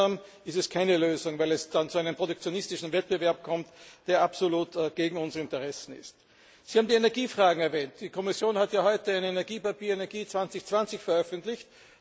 Gemeinsam ist es keine Lösung, weil es dann zu einem protektionistischen Wettbewerb kommt, der absolut gegen unsere Interessen ist. Sie haben die Energiefragen erwähnt. Die Kommission hat heute ein Energiepapier Energie 2020 veröffentlicht.